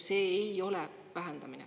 See ei ole vähendamine.